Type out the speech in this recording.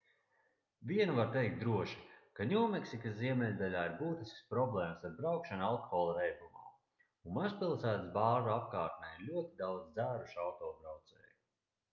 vienu var teikt droši ka ņūmeksikas ziemeļdaļā ir būtiskas problēmas ar braukšanu alkohola reibumā un mazpilsētas bāru apkārtnē ir ļoti daudz dzērušu autobraucēju